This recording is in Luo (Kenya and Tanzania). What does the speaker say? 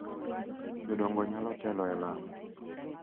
Jodongo nyalo telo e lamo,